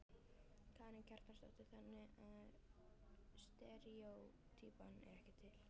Karen Kjartansdóttir: Þannig að steríótýpan er ekki til?